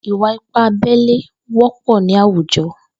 Ìwà ìpá àbẹlé wọpọ ni àwújọ